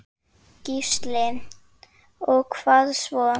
Gísli: Og hvað svo?